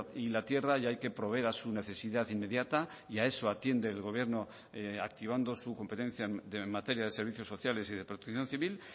y la tierra y hay que proveer a su necesidad inmediata y a eso atiende el gobierno activando su competencia de materia de servicios sociales y de protección civil